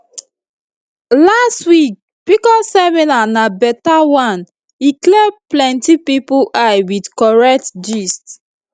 last week pcos seminar na better one e clear plenty people eye with correct gist